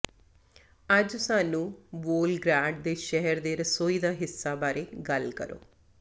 ਅੱਜ ਸਾਨੂੰ ਵੋਲ੍ਗਗ੍ਰੈਡ ਦੇ ਸ਼ਹਿਰ ਦੇ ਰਸੋਈ ਦਾ ਹਿੱਸਾ ਬਾਰੇ ਗੱਲ ਕਰੋ